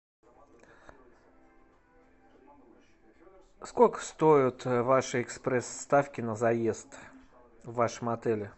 сколько стоят ваши экспресс ставки на заезд в вашем отеле